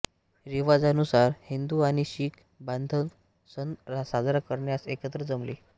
रिवाजानुसार हिंदू आणि शीख बान्धव सण साजरा करण्यास एकत्र जमले